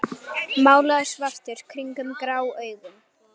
Málaður svartur kringum grá augun.